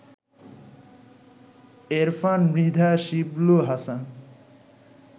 Erfan Mridha Shiblu, Hasan